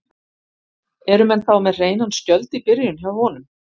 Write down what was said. Eru menn þá með hreinan skjöld í byrjun hjá honum?